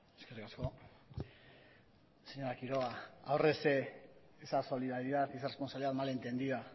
eskerrik asko señora quiroga ahorrese esa solidaridad y esa responsabilidad mal entendida